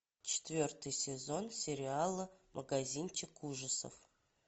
четвертый сезон сериала магазинчик ужасов